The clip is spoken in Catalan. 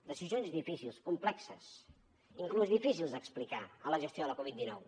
decisions difícils complexes inclús difícils d’explicar de la gestió de la covid dinou